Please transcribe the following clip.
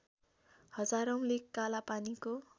हजारौँले कालापानीको